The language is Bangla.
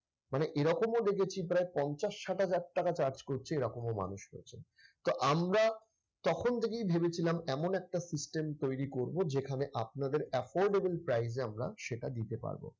মানে এরকমও দেখেছি প্রায় পঞ্চাশ ষাট হাজার টাকা charge করছে এরকমও মানুষ রয়েছে। তো আমরা তখন থেকেই ভেবেছিলাম এমন একটা system তৈরি করব যেখানে আপনাদের affordable price এ সেটা দিতে পারব।